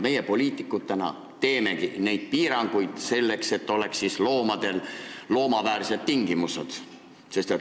Meie poliitikutena teemegi neid piiranguid, selleks et loomadel oleksid loomaväärsed tingimused.